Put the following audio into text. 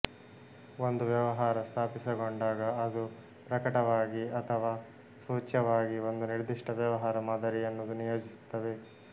ಒಂದು ವ್ಯವಹಾರ ಸ್ಥಾಪಿತಗೊಂಡಾಗ ಅದು ಪ್ರಕಟವಾಗಿ ಅಥವಾ ಸೂಚ್ಯವಾಗಿ ಒಂದು ನಿರ್ಧಿಷ್ಟ ವ್ಯವಹಾರ ಮಾದರಿಯನ್ನು ನಿಯೋಜಿಸುತ್ತದೆ